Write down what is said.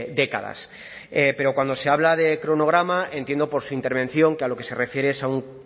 décadas pero cuando se habla de cronograma entiendo por su intervención que a lo que se refiere es a un